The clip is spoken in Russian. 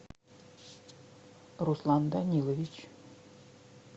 руслан данилович